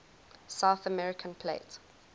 south american plate